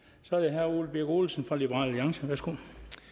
så er det herre ole birk olesen fra liberal alliance værsgo